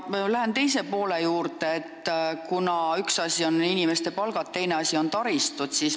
Ma lähen oma küsimuse teise poole juurde, kuna üks asi on inimeste palgad, teine asi on taristu.